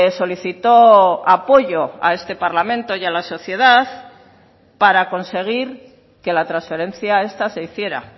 solicitó apoyo a este parlamento y a la sociedad para conseguir que la transferencia esta se hiciera